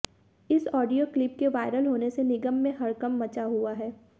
इस audio clip के viral होने से निगम में हडक़ंप मचा हुआ है